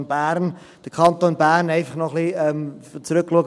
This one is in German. Um nochmals ein wenig auf den Kanton Graubünden zurückzuschauen: